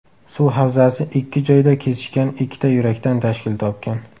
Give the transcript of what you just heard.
Suv havzasi ikki joyda kesishgan ikkita yurakdan tashkil topgan.